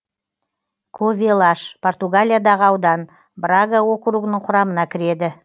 ковелаш португалиядағы аудан брага округінің құрамына кіреді